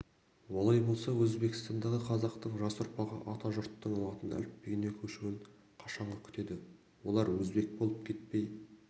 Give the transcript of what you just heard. олай болса өзбекстандағы қазақтың жас ұрпағы атажұрттың латын әліпбиіне көшуін қашанғы күтеді олар өзбек болып кетпей